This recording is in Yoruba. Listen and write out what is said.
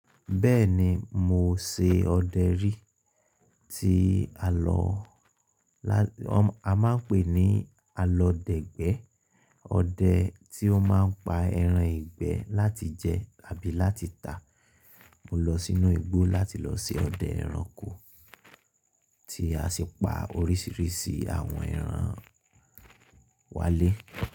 Bẹ́ẹ̀ni mo ṣe ọdẹ rí tí a lọ la— a máa ń pè ní alọdẹ̀gbẹ́. Ọdẹ tí ó máa ń pa ẹran ìgbẹ́ láti jẹ àbí láti tà. Mo lọ sínú igbó láti lọ ṣe ọdẹ ẹranko tí a sì pa oríṣiríṣi àwọn ẹran wálé.